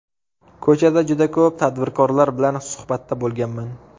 Ko‘chada juda ko‘p tadbirkorlar bilan suhbatda bo‘lganman.